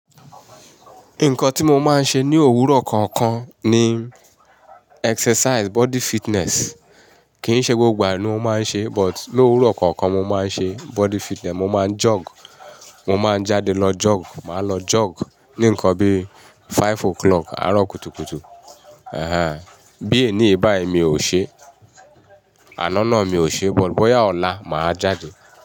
Nǹkan tí mo máa ń ṣe ní òwúrọ̀ kọ̀ọ̀kan ni exercise body fitness. Kì í ṣe gbogbo ìgbà ni mo máa ń ṣe, but lówúrọ̀ kọ̀ọ̀kan mo máa ń ṣe body fitness, mo máa jog, mo máa jáde lọ jog, màá lọ jog ní ǹkan bí five o'clock, àárọ̀ kùtùkùtù. Bí èní báì mi ò ṣe, àná náà mi ò ṣe, but bóyá ọ̀la mà á jáde.